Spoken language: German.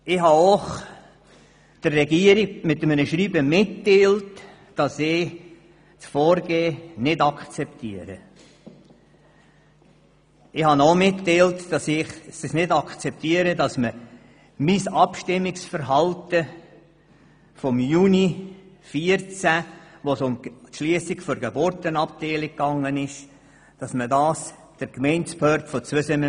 In einem Schreiben habe ich der Regierung mitgeteilt, dass ich dieses Vorgehen ebenso wenig akzeptiere wie die Mitteilung über mein Abstimmungsverhalten am Juni 2014, bezüglich der Schliessung der Geburtenabteilung, an die Gemeindebehörden von Zweisimmen.